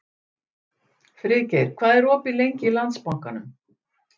Friðgeir, hvað er opið lengi í Landsbankanum?